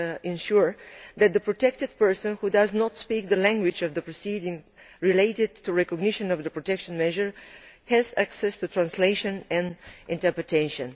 of ensuring that a protected person who does not speak the language of the proceedings relating to the recognition of the protection measure has access to translation and interpretation.